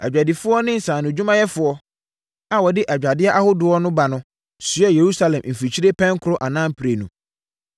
Adwadifoɔ ne nsaanodwumayɛfoɔ a wɔde adwadeɛ ahodoɔ ba no soɛɛ Yerusalem mfikyire pɛnkorɔ anaa mprenu.